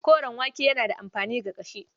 Koren wake yana da amfani ga ƙashi.